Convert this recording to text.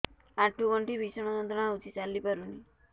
ଆଣ୍ଠୁ ଗଣ୍ଠି ଭିଷଣ ଯନ୍ତ୍ରଣା ହଉଛି ଚାଲି ପାରୁନି